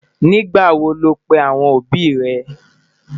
nígbà wò ló pè àwọn òbí ré?